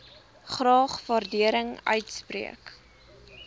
graag waardering uitspreek